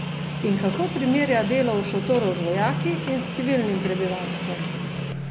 In kako primerja delo v šotoru z vojaki in s civilnim prebivalstvom?